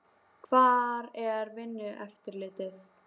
Hvar er Vinnueftirlitið?